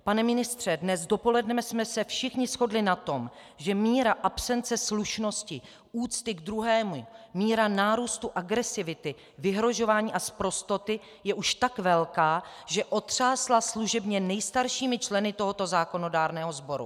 Pane ministře, dnes dopoledne jsme se všichni shodli na tom, že míra absence slušnosti, úcty k druhému, míra nárůstu agresivity, vyhrožování a sprostoty je už tak velká, že otřásla služebně nejstaršími členy tohoto zákonodárného sboru.